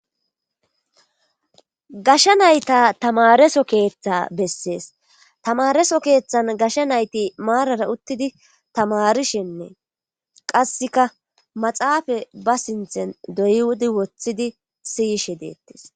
gasha nayta tamareso keeththa bessees tamareso keeththan gashsha nayti maarara uttidi tamarishennee qasseka maxaafa ba sinthen doywudi woththidi siyishe deettes